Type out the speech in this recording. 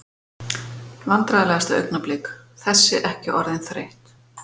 Vandræðalegasta augnablik: Þessi ekki orðin þreytt?